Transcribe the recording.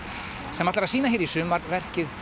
sem ætlar að sýna hér í sumar verkið